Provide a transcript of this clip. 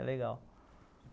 É legal.